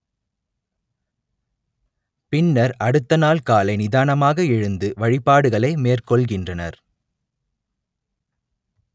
பின்னர் அடுத்த நாள் காலை நிதானமாக எழுந்து வழிபாடுகளை மேற்கொள்கின்றனர்